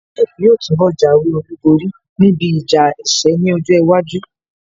Jake yóò túnbọ̀ jáwé olúborí níbi ìjà ẹkẹ ní ọjọ́ iwájú